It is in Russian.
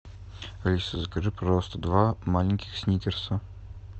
алиса закажи пожалуйста два маленьких сникерса